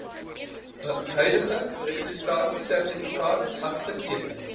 huidige registrasiesertifikaat afteken